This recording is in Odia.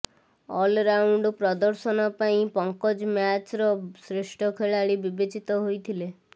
ଅଲ୍ରାଉଣ୍ଡ୍ ପ୍ରଦର୍ଶନ ପାଇଁ ପଙ୍କଜ ମ୍ୟାଚ୍ର ଶ୍ରେଷ୍ଠ ଖେଳାଳି ବିବେଚିତ ହୋଇଥିଲେ